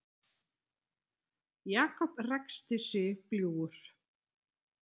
Jakob ræskti sig bljúgur.